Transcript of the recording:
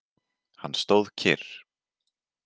Hann stóð kyrr.